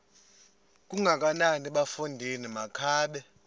kangakanana bafondini makabe